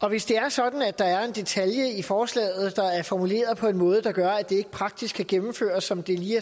og hvis det er sådan at der er en detalje i forslaget der er formuleret på en måde der gør at det ikke praktisk kan gennemføres som det lige